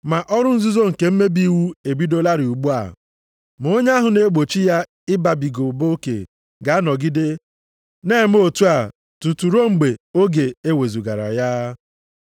Ma ọrụ nzuzo nke mmebi iwu ebidolarị ugbu a, ma onye ahụ na-egbochi ya ịbabiga ụba oke ga-anọgide na-eme otu a tutu ruo mgbe oge e wezugara ya.